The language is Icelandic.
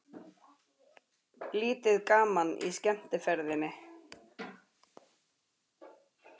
Lítið gaman í skemmtiferðinni